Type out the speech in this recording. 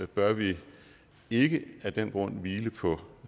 bør vi ikke af den grund hvile på